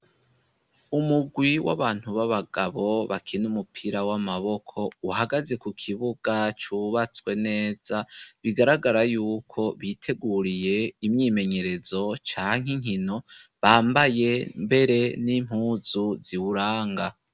Umugwi w'abantu b'abagabo bakina umupira w'amaboko uhagaze ku kibuga cubatswe neza bigaragara yuko biteguriye imyimenyerezo canke inkino bambaye mbere n'impuzu ziwuranga.